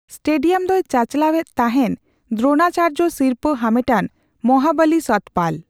Stadium ᱫᱚᱭ ᱪᱟᱪᱟᱞᱟᱣ ᱮᱫ ᱛᱟᱦᱮᱱ ᱫᱨᱳᱱᱟᱪᱟᱨᱡᱚ ᱥᱤᱨᱯᱟᱹ ᱦᱟᱢᱮᱴᱟᱱ ᱢᱚᱦᱟᱵᱟᱞᱤ ᱥᱚᱛᱯᱟᱞ ᱾